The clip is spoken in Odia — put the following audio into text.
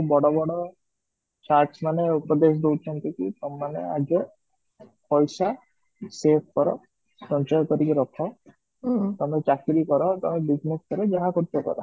ବଡ ବଡ sharks ମାନେ ଉପଦଦେଶ ଦଉଛନ୍ତି କି ତମେ ମାନେ ଆଗେ ପଇସା save କର ସଞ୍ଚୟ କରିକି ରଖ ତମେ ଚାକିରି କର ତମେ business କର ତମେ ଯାହା କରୁଛ କର